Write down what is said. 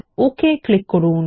তারপর okay click করুন